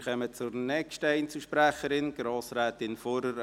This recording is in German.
Wir kommen zur nächsten Einzelsprecherin: Grossrätin Fuhrer.